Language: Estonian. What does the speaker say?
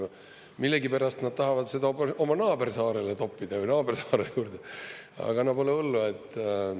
Aga millegipärast nad tahavad seda oma naabersaarele toppida, või naabersaare juurde, aga no pole hullu.